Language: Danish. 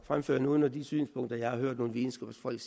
fremføre nogen af de synspunkter jeg har hørt nogle videnskabsfolk